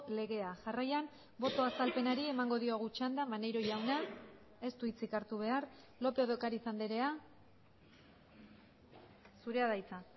legea jarraian boto azalpenari emango diogu txanda maneiro jauna ez du hitzik hartu behar lópez de ocariz andrea zurea da hitza